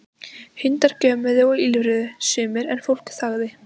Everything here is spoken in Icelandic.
Hundar gjömmuðu og ýlfruðu sumir en fólk þagði.